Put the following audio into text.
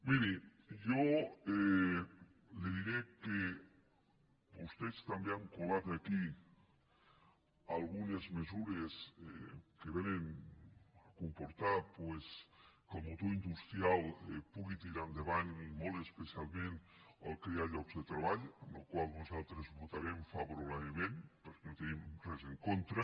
miri jo li diré que vostès també han colat aquí algu·nes mesures que vénen a comportar doncs que el mo·tor industrial pugui tirar endavant i molt especialment crear llocs de treball al qual nosaltres votarem favo·rablement perquè no hi tenim res en contra